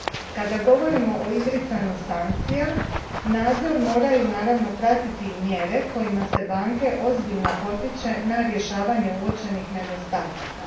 Kada govorimo oo izricanju sankcija, nadzor moraju naravno pratiti i mjere kojima se banke ozbiljno potiče na rješavanje uočenih nedostataka.